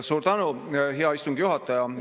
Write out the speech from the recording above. Suur tänu, hea istungi juhataja!